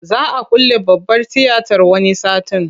Za a külle babbar tiyatar wani satin.